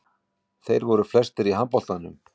Þeir voru flestir í handboltanum.